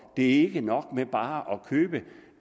ikke nok med bare